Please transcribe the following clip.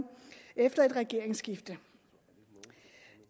efter et regeringsskifte